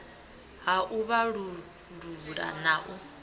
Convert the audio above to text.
ha u vhalullula na u